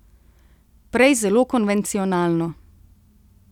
Prej zelo konvencionalno.